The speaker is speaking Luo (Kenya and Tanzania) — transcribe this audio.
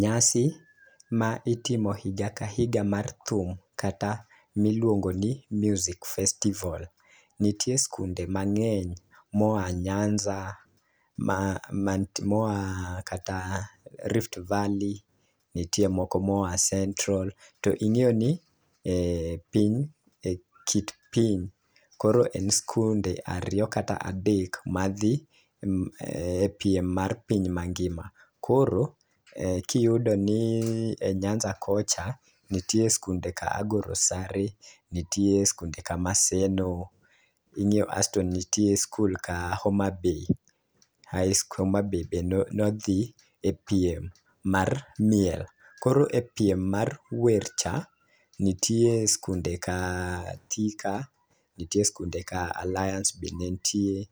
Nyasi ma itimo higa ka higa mar thum kata miluongo ni music festival . Nitie skunde mang'eny moa nyanza , ma ma moa kata rift valley, nitie moko moa central to ing'eyo ni ee piny e kit piny koro en skunde ariyo kata adek madhi e piem mar piny mangima. Koro kiyudo ni e nyanza kocha nitie skunde ka Agoro sare ,nitie skunde ka maseno , asto nitie skul ka homabay ae skul homabay be nodhi e piem mar miel. Koro e piem mar wer cha ntie skunde ka Thika, nitie skunde ka Alliance be ntie